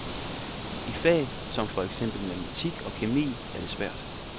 I fag som for eksempel matematik og kemi er det svært.